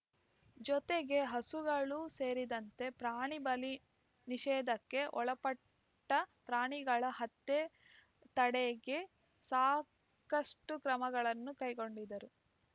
ಜೊತೆಗೆ ಹಸುಗಳು ಸೇರಿದಂತೆ ಪ್ರಾಣಿ ಬಲಿ ನಿಷೇಧಕ್ಕೆ ಒಳಪಟ್ಟಪ್ರಾಣಿಗಳ ಹತ್ಯೆ ತಡೆಗೆ ಸಾಕಷ್ಟುಕ್ರಮಗಳನ್ನು ಕೈಗೊಂಡಿದರು